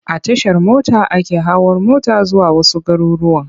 A Tashar mota ake hawa mota zuwa wasu garurruwan.